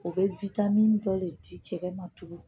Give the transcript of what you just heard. O bɛ dɔ le di cɛ ma tugun